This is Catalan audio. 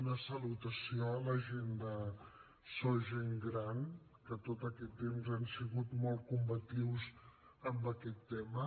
una salutació a la gent de sos gent gran que tot aquest temps han sigut molt combatius en aquest tema